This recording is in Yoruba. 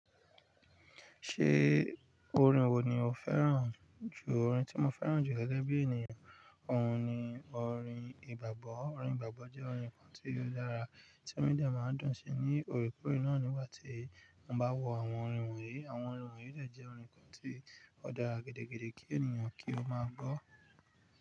Ṣé orin wo ni o fẹ́ràn jù? Orin tí mo fẹ́ràn jù gẹ́gẹ́ bí ènìyàn, òun ni orin ìgbàgbọ́. Orin ìgbàgbọ́ jẹ́ orin kan tí ó dára tí ó inú mi dé ma ń dùn sí ní òrekòrẹ nígbà tí mo bá wo àwọn orin wọ̀nyí. Àwọn orin wọ̀nyí dè jẹ́ orin kan tí ó dára gidi gan-an kí ènìyàn kí ó máa gbọ́.